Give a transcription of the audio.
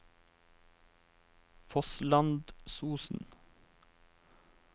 Fosslandsosen